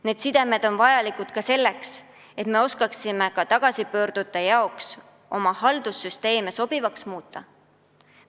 Need sidemed on vajalikud ka selleks, et me oskaksime oma haldussüsteeme tagasipöördujatele sobivamaks muuta.